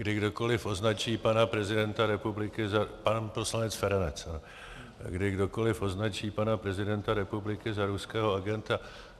Kdy kdokoliv označí pana prezidenta republiky za - pan poslanec Feranec - kdy kdokoli označí pana prezidenta republiky za ruského agenta.